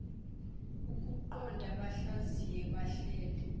ukuqoqa bahlaziye bahlele